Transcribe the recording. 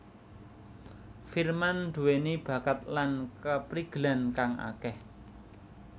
Firman duweni bakat lan kaprigelan kang akeh